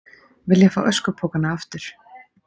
Vilja fá öskupokana aftur